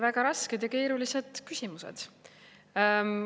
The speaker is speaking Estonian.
Väga rasked ja keerulised küsimused.